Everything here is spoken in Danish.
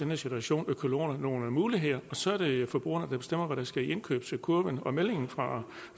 her situation økologerne nogle muligheder og så er det forbrugerne der bestemmer hvad der skal i indkøbskurven og meldingen fra